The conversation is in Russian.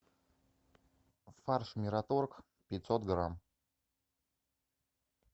фарш мираторг пятьсот грамм